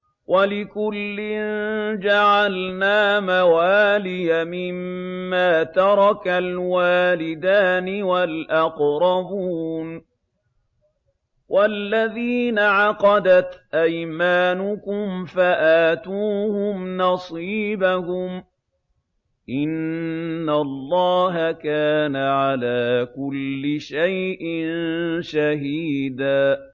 وَلِكُلٍّ جَعَلْنَا مَوَالِيَ مِمَّا تَرَكَ الْوَالِدَانِ وَالْأَقْرَبُونَ ۚ وَالَّذِينَ عَقَدَتْ أَيْمَانُكُمْ فَآتُوهُمْ نَصِيبَهُمْ ۚ إِنَّ اللَّهَ كَانَ عَلَىٰ كُلِّ شَيْءٍ شَهِيدًا